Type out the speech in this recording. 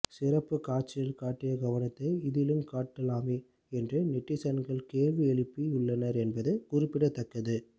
சிறப்புக் காட்சியில் காட்டிய கவனத்தை இதிலும் காட்டலாமே என்று நெட்டிசன்களும் கேள்வி எழுப்பி உள்ளனர் என்பது குறிப்பிடத்தக்கது